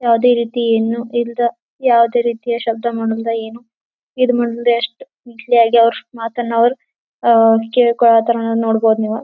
ಯಾವದೇ ರೀತಿಯನ್ನು ಯಿಂದ ಯಾವದೇ ರೀತಿಯ ಶಬ್ದ ಮಾಡೋದ್ರಿಂದ ಏನು ಈದ್ ಮುಂದೆ ಅಷ್ಟು ಮಾತನ್ನು ಅವರು ಅಹ್ ಕೇಳಿಕೊಳ್ಳತ್ತರ್ ನೀವ್ ನೋಡಬಹುದು ನೀವು.